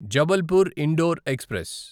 Jabalpur Indore express